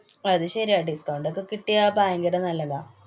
അതു ശരിയാ. discount ഒക്കെ കിട്ടിയാ ഭയങ്കര നല്ലതാ.